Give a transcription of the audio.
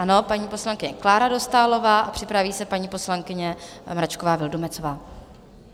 Ano, paní poslankyně Klára Dostálová, a připraví se paní poslankyně Mračková Vildumetzová.